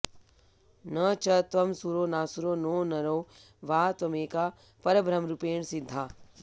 न च त्वं सुरो नासुरो नो नरो वा त्वमेका परब्रह्मरूपेण सिद्धा